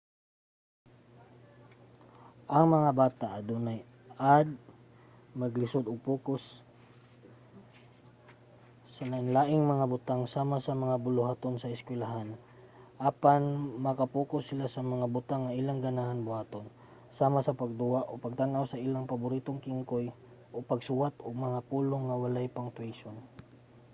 ang mga bata nga adunay add maglisud og pokus sa lain-laing mga butang sama sa mga buluhaton sa eskwelahan apan maka-pokus sila sa mga butang nga ilang ganahan buhaton sama sa pagduwa o pagtan-aw sa ilang paboritong kingkoy o pagsuwat og mga pulong nga walay punctuation